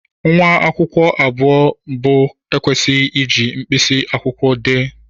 Nwa akwụkwọ abụọ mbụ ekwesịghị iji mkpịsị akwụkwọ dee.